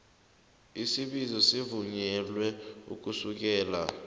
isibizo sivunyelwe ukusukela